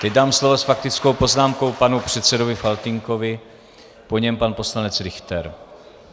Teď dám slovo s faktickou poznámkou panu předsedovi Faltýnkovi, po něm pan poslanec Richter.